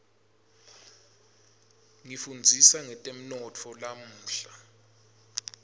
ngifundzisa ngetemnotfo lamuhla